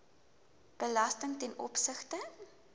belasting ten opsigte